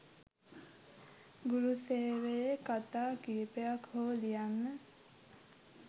ගුරු සේවයේ කතා කීපයක් හෝ ලියන්න.